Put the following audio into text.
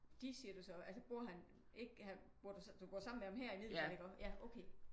De siger du så altså bor han ikke du bor sammen med ham her i Middelfart iggå? Ja okay